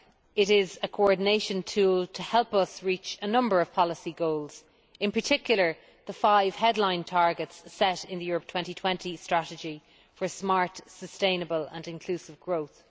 It is a coordination tool to help us reach a number of policy goals, in particular the five headline targets set in the Europe 2020 Strategy for smart, sustainable and inclusive growth.